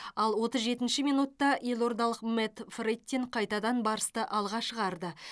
ал отыз жетінші минутта елордалық мэтт фрэттин қайтадан барысты алға шығарды